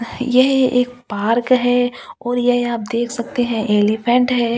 यह एक पार्क है और यह आप देख सकते है ऐलिफेंट है ओ --